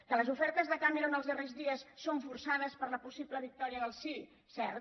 que les ofertes de cameron els darrers dies són forçades per la possible victòria del sí cert